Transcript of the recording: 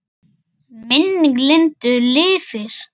Minning Lindu lifir.